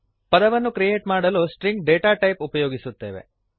ಪದವನ್ನು ಕ್ರಿಯೇಟ್ ಮಾಡಲು string data ಟೈಪನ್ನು ಉಪಯೋಗಿಸುತ್ತೇವೆ